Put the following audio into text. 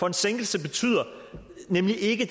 en sænkelse betyder nemlig ikke